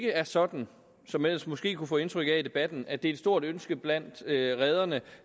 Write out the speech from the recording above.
er sådan som man ellers måske kunne få indtryk af i debatten at det er et stort ønske blandt rederne